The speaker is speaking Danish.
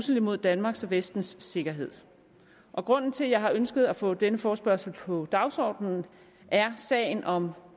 mod danmarks og vestens sikkerhed grunden til at jeg har ønsket at få denne forespørgsel på dagsordenen er sagen om